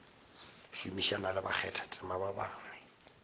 šomišana le bakgathatema ba bangwe